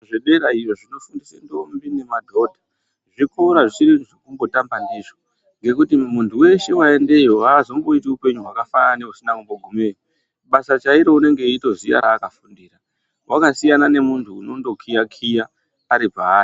Zvedera iyo zvinofundise ndombi nemadhodha, zvikora zvisiri zvekutamba ndizvo ngekuti muntu weshe waendeyo haazomboiti upenyu hwakafanana neusina kumbogumeyo. Basa chairo unenge eyitoziya raakafundira. Wakasiyana nemuntu unondokiya-kiya ari paari.